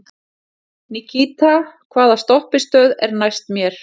Nikíta, hvaða stoppistöð er næst mér?